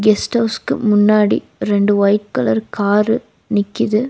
Guest ஹவுஸ்க்கு முன்னாடி ரெண்டு ஒயிட் கலர் கார்ரு நிக்கிது.